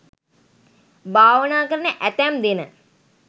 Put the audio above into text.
භාවනා කරන ඇතැම් දෙන